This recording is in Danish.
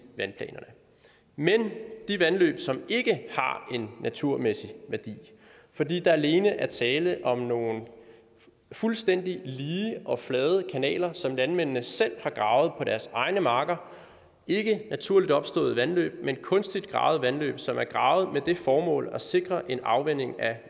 vandplanerne men de vandløb som ikke har en naturmæssig værdi fordi der alene er tale om nogle fuldstændig lige og flade kanaler som landmændene selv har gravet på deres egne marker ikke naturligt opståede vandløb men kunstigt gravede vandløb som er gravet med det formål at sikre en afvanding af